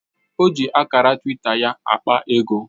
O ji akara twita ya akpa ego